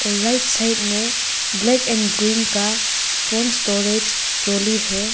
Right side में black and green का font storage trolley है।